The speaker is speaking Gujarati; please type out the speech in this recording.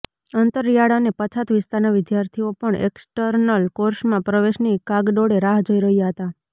અંતરિયાળ અને પછાત વિસ્તારના વિદ્યાર્થીઓ પણ એક્સ્ટર્નલ કોર્સમાં પ્રવેશની કાગડોળે રાહ જોઇ રહ્યા હતા